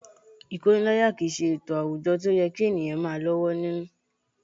Ìkóniláyàjẹ kì í ṣe ètò àwùjọ tí ó yẹ kí ènìyàn máa lọ́wọ́ nínú